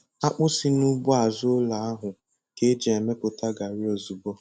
Akpụ si nugbo azụ ụlọ ahụ ka e ji mepụta gari ozugbo.